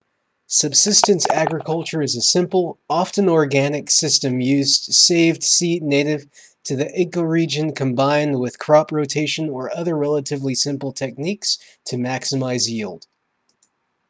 subsistence agriculture is a simple often organic system using saved seed native to the ecoregion combined with crop rotation or other relatively simple techniques to maximize yield